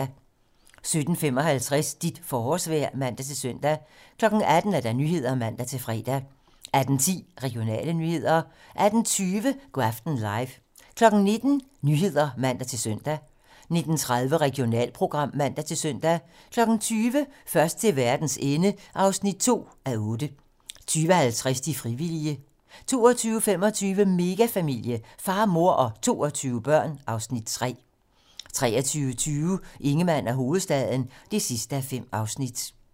17:55: Dit forårsvejr (man-søn) 18:00: 18 Nyhederne (man-fre) 18:10: Regionale nyheder 18:20: Go' aften live 19:00: 19 Nyhederne (man-søn) 19:30: Regionalprogram (man-søn) 20:00: Først til verdens ende (2:8) 20:50: De frivillige 22:25: Megafamilie - far, mor og 22 børn (Afs. 3) 23:20: Ingemann og hovedstaden (5:5)